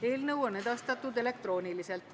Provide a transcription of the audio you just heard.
Eelnõu on edastatud elektrooniliselt.